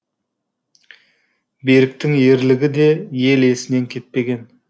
беріктің ерлігі де ел есінен кетпеген